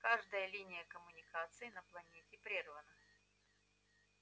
каждая линия коммуникации на планете прервана